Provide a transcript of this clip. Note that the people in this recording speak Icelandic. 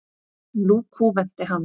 Nú kúventi hann.